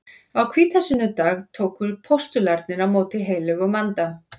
Á hvítasunnudag tóku postularnir á móti heilögum anda.